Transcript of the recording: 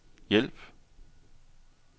hjælp